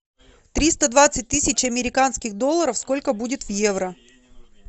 триста двадцать тысяч американских долларов сколько будет в евро